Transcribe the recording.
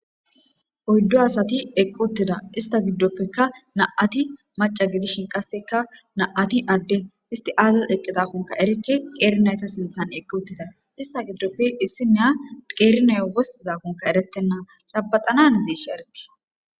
oyddu asati eqqi uttida ista giddoppekka na7ati maca gidishin qasseka na7ati adde isti aaza eqqidakunka erikke qeerinayta sinthan eqqi uttida ista giddoppe issineya qeerinayo wossizakonka eretenna cabaxana hanazesha erike